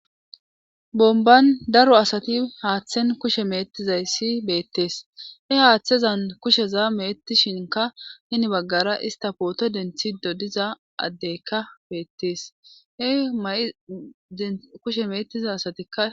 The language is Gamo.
bomban daro asati haaththen kushe meettizay si beettees he haaththezan kusheza meettishinka hini baggara ista pooto denthido diza addeykka beettees he ma7i de kushe meettiza asatikka